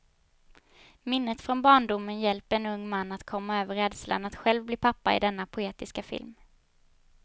Minnet från barndomen hjälper en ung man att komma över rädslan att själv bli pappa i denna poetiska film.